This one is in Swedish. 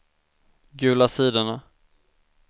gula sidorna